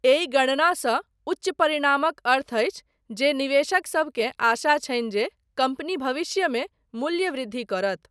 एहि गणनासँ उच्च परिणामक अर्थ अछि जे निवेशकसबकेँ आशा छनि जे कम्पनी भविष्यमे मूल्य वृद्धि करत।